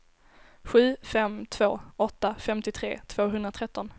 sju fem två åtta femtiotre tvåhundratretton